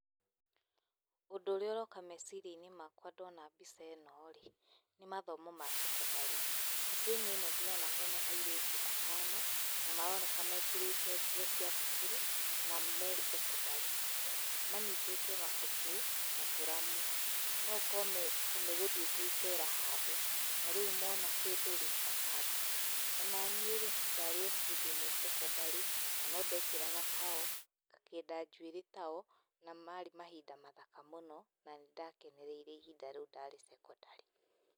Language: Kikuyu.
Ũndũ ũrĩa ũroka meciria-inĩ makwa ndona mbica ĩno-rĩ, nĩ mathomo ma cekondarĩ. Mbica-inĩ ĩno ndĩrona hena airĩtu atano, na maroneka mekĩrĩte nguo cia thukuru na me cekondarĩ. Manyitĩte mabuku na tũramu. No ũkorwo megũthiĩte icera handũ, na rĩu mona kĩndũ-rĩ, makandĩka. Onaniĩ-rĩ, ndarĩ o hĩndĩ ĩmwe cekondarĩ, na no ndekĩraga tao, ngakĩnda njuĩrĩ tao, na marĩ mahinda mathaka mũno na nĩndakenereire ihinda rĩu ndarĩ cekondarĩ.